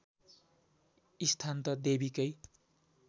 स्थान त देवीकै